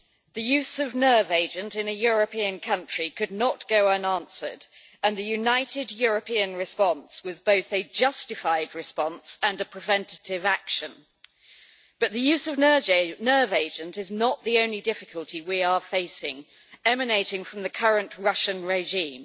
The use of a nerve agent in a European country could not go unanswered, and the united European response was both a justified response and a preventative action. But the use of a nerve agent is not the only difficulty that we are facing emanating from the current Russian regime.